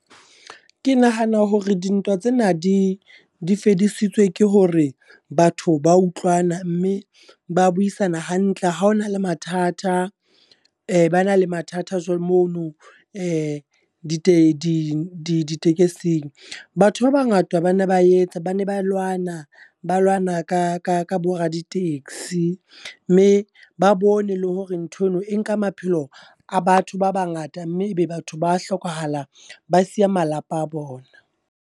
Ke nahana hore dintwa tsena di di fedisitswe ke hore batho ba utlwana, mme ba buisana hantle. Ha hona le mathata, ba na le mathata jwalo mono di te ditekesing. Batho ba bangata bana ba etsa, ba ne ba lwana, ba lwana ka ka ka bo raditekesi. Mme ba bone le hore ntho eno e nka maphelo a batho ba bangata, mme ebe batho ba hlokahala ba siya malapa a bona.